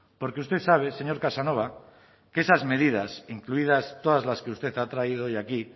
porque usted sabe señor casanova que esas medidas incluidas todas las que usted ha traído hoy aquí